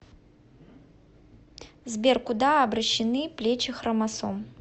сбер куда обращены плечи хромосом